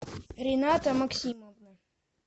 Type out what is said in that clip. рената максимовна